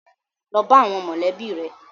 Lọ bá àwọn mọ̀lẹ́bí rẹ.